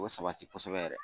O sabati kosɛbɛ yɛrɛ